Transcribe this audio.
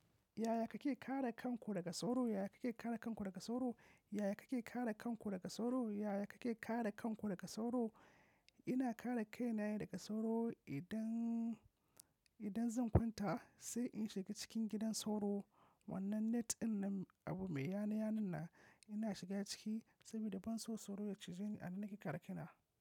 Yaya kake kare kanku daga sauro? Yaya kake kare kanku daga sauro? Yaya kake kare kanku daga sauro? Yaya kake kare kanku daga sauro? Ina kare kaina daga sauro idan, idan zan kwanta sai in shiga cikin gidan sauro. Wannan net dinnan abu mai yana-yanan nan, ina shiga ciki saboda ban so sauro ya cije ni a nan nake kare kaina.